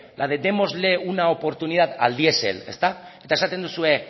la de démosle una oportunidad al diesel ezta eta esaten duzue